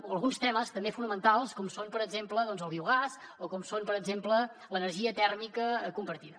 o alguns temes també fonamentals com és per exemple el biogàs o com és per exemple l’energia tèrmica compartida